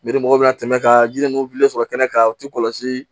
mɔgɔw bɛna tɛmɛ ka yiri ninnu sɔrɔ kɛnɛ kan u ti kɔlɔsi